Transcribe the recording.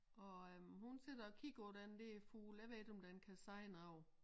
Og øh hun sidder og kigger på den dér fugl jeg ved ikke om den kan sige noget